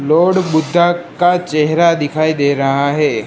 Lord Buddha का चेहरा दिखाई दे रहा है।